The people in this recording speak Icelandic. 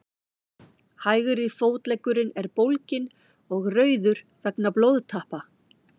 hægri fótleggurinn er bólginn og rauður vegna blóðtappa